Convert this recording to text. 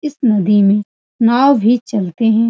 इस नदी में नाव भी चलते हैं।